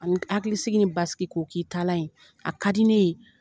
A ni hakilisigi, ni baski ko k'i taalan ye, a ka di ne ye.